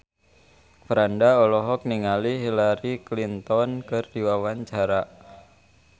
Franda olohok ningali Hillary Clinton keur diwawancara